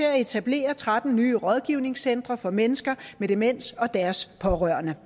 at etablere tretten nye rådgivningscentre for mennesker med demens og deres pårørende